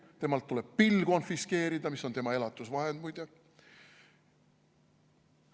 Temalt tuleb pill konfiskeerida, mis on tema elatusvahend, muide.